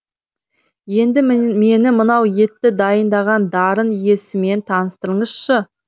енді мені мынау етті дайындаған дарын иесімен таныстырыңызшы